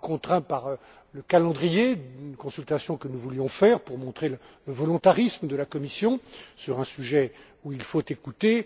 contraints par le calendrier d'une consultation que nous voulions faire pour montrer le volontarisme de la Commission sur un sujet où il faut écouter.